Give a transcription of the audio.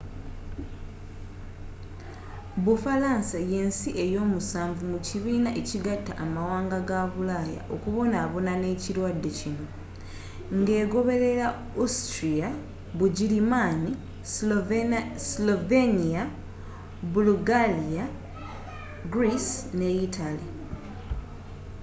bufalansa ye nsi ey'omusanvu mu kibiina ekigatta amawanga ga bulaaya okubonabona n'ekirwadde kino ng'egoberera austria bugirimaani slovenia bulugaliya greece ne yitale